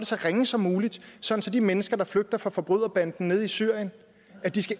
så ringe som muligt så de mennesker der flygter fra forbryderbanden nede i syrien